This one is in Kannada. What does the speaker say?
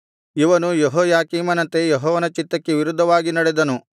ಇವನು ಯೆಹೋಯಾಕೀಮನಂತೆ ಯೆಹೋವನ ಚಿತ್ತಕ್ಕೆ ವಿರುದ್ಧವಾಗಿ ನಡೆದನು